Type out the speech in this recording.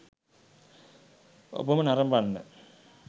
ඔබම නරඹන්න.